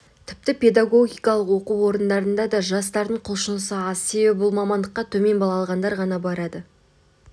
тіпті педагогикалық оқу орындарына да жастардың құлшынысы аз себебі бұл мамандыққа төмен балл алғандар ғана барады